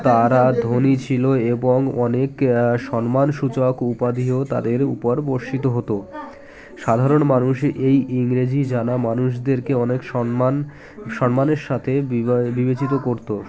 তারা ধনী ছিল এবং অনেক আ সম্মানসূচক উপাধিও তাদের উপর বর্ষিত হতো সাধারণ মানুষ এই ইংরেজি জানা মানুষদেরকে অনেক সন্মান সন্মানের সাথে বিবা বিবেচিত করতো